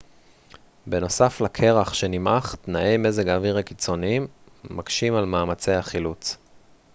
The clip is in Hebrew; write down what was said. בנוסף לקרח שנמעך תנאי מזג האוויר הקיצוניים מקשים על מאמצי החילוץ